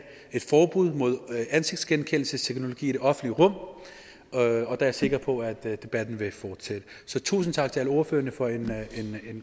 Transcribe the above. et forbud mod ansigtsgenkendelsesteknologi i det offentlige rum og der er jeg sikker på at debatten vil fortsætte tusind tak til alle ordførerne for en